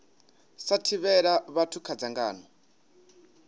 sa thivhela vhathu kha dzangano